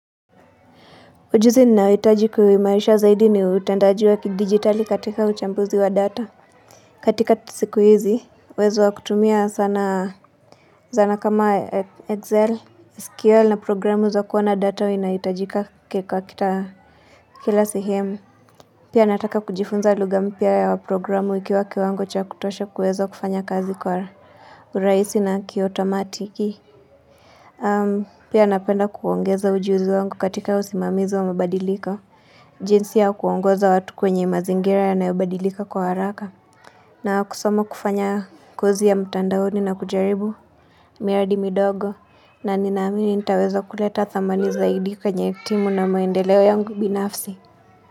Ujuzi ninaohitaji kuwa maisha zaidi ni utendaji wa kidigitali katika uchambuzi wa data. Katika ti siku hizi, uwezo wa kutumia sana zana kama Excel, SQL na programu za kuwa na data hua inaitajika kwa kita kila sihemu. Pia nataka kujifunza lugha mpya ya waprogramu iki waki wango cha kutosha kuwezo kufanya kazi kwa urahisi na kiotomatiki. Pia napenda kuongeza ujuzi wangu katika usimamizi wa mabadilika. Jinsi ya ku kuongoza watu kwenye mazingira yanayobadilika kwa haraka. Na kusoma kufanya kozi ya mtandaoni na kujaribu. Miradi midogo. Na ninaamini nitaweza kuleta thamani zaidi kwenye timu na maendeleo yangu binafsi.